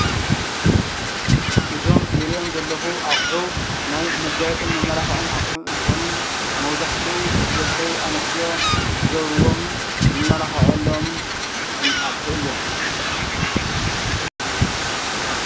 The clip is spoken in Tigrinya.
እዞም ዝሪኦም ዘለኩ አቁሑ ናይ መጋየፅን መማላክዕን አቁሑ እንትኮኑ መብዛሕትኡ ደቂ አንስትዮ ዝገብርዎም ዝማላክዐሎምን እቁሑ እዮም።